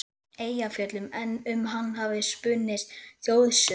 Eyjafjöllum, en um hann hafa spunnist þjóðsögur.